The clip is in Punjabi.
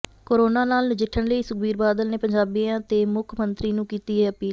ਕੋਰੋਨਾ ਨਾਲ ਨਜਿੱਠਣ ਲਈ ਸੁਖਬੀਰ ਬਾਦਲ ਨੇ ਪੰਜਾਬੀਆਂ ਤੇ ਮੁੱਖ ਮੰਤਰੀ ਨੂੰ ਕੀਤੀ ਇਹ ਅਪੀਲ